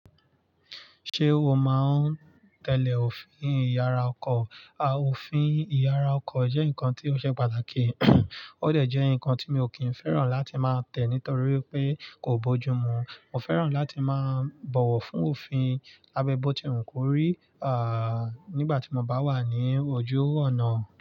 Ṣé o máa ń tẹ́lẹ̀ òfin ìyara ọkọ̀? À, òfin ìyara ọkọ̀ jẹ́ nǹkan tí ó ṣe pàtàkì. Ó dẹ̀ jẹ́ ǹnkan tí mi ò kí ń fẹ́ràn láti máa tẹ̀ nítorí pé kò bójú mú. Mo fẹ́ràn láti máa bọ̀wọ̀ fún òfin abẹ́ bótíwu kórí, nígbà tí mo bá wà ní ojú ọ̀nà.